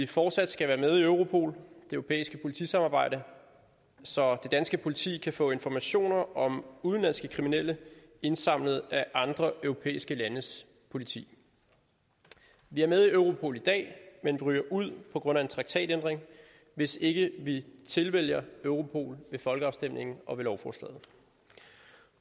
fortsat skal være med i europol det europæiske politisamarbejde så det danske politi kan få informationer om udenlandske kriminelle indsamlet af andre europæiske landes politi vi er med i europol i dag men ryger ud på grund af en traktatændring hvis ikke vi tilvælger europol ved folkeafstemningen og med lovforslaget